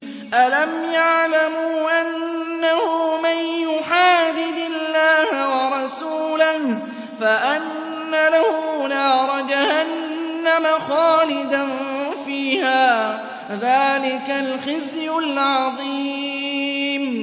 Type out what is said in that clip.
أَلَمْ يَعْلَمُوا أَنَّهُ مَن يُحَادِدِ اللَّهَ وَرَسُولَهُ فَأَنَّ لَهُ نَارَ جَهَنَّمَ خَالِدًا فِيهَا ۚ ذَٰلِكَ الْخِزْيُ الْعَظِيمُ